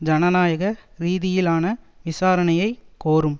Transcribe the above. ஜனநாயக ரீதியிலான விசாரணையை கோரும்